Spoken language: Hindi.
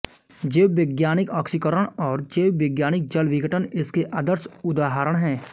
जीववैज्ञानिक आक्सीकरण और जीववैज्ञानिक जलविघटन इसके आदर्श उदाहरण हैं